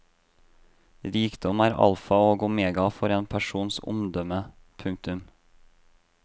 Rikdom er alfa og omega for en persons omdømme. punktum